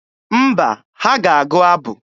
Mba, ha ga-agụ abụ.